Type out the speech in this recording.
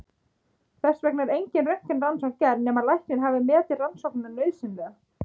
Þess vegna er engin röntgenrannsókn gerð nema læknir hafi metið rannsóknina nauðsynlega.